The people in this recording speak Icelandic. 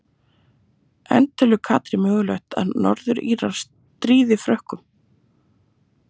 En telur Katrín mögulegt að Norður Írar stríði Frökkum?